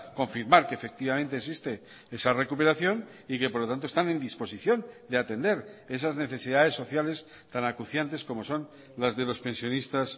confirmar que efectivamente existe esa recuperación y que por lo tanto están en disposición de atender esas necesidades sociales tan acuciantes como son las de los pensionistas